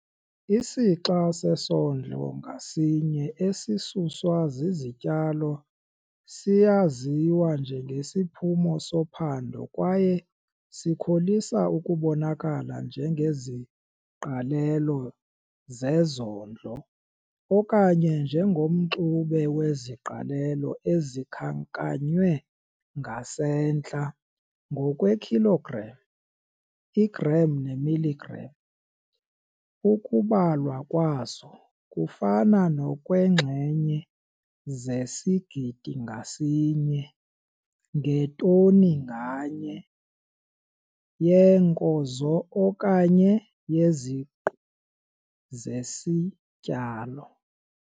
Isixa sesondlo ngasinye esisuswa zizityalo siyaziwa njengesiphumo sophando kwaye sikholisa ukubonakala njengeziqalelo zezondlo okanye njengomxube weziqalelo ezikhankanywe ngasentla ngokweekhilogram, iigram neemiligram ukubalwa kwazo kufana nokweenxenye zesigidi ngasinye ngetoni nganye yeenkozo okanye yeziqu zesityalo.